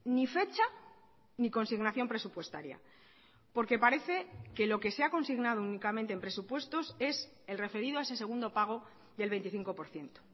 ni fecha ni consignación presupuestaria porque parece que lo que se ha consignado únicamente en presupuestos es el referido a ese segundo pago del veinticinco por ciento